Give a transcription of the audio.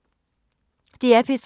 DR P3